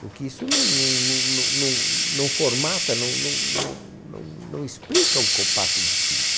Porque isso não não não não formata, não não não não explica o compasso de cinco.